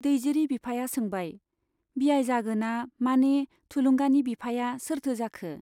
दैजिरि बिफाया सोंबाय, बियाइ जागोना माने थुलुंगानि बिफाया सोरथो जाखो ?